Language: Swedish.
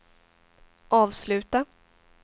avsluta